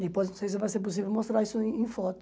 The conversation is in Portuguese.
Não sei se vai ser possível mostrar isso em em foto.